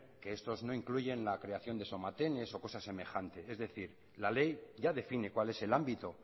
que estos no incluyen la creación de somatenes o cosas semejantes es decir la ley ya define cuál es el ámbito